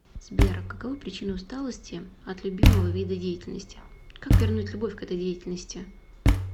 сбер каковы причины усталости от любимого вида деятельности как вернуть любовь к этой деятельности